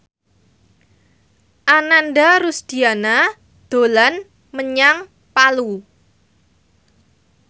Ananda Rusdiana dolan menyang Palu